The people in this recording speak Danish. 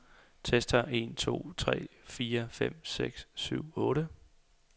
Tester en to tre fire fem seks syv otte.